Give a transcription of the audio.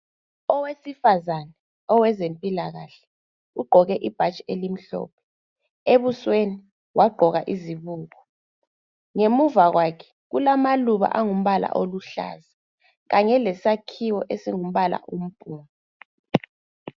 Owesifazana owezempilakahle, ugqoke ibhatshi elimhlophe. Ebusweni wagqoka izibuko. Ngemuva kwakhe kulamaluba angumbala aluhlaza. Kanye lesakhiwo esingumbala ompunga.